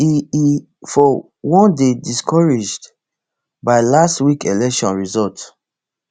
e e for one dey discouraged by last week election result